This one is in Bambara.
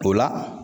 O la